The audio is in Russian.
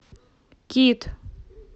кит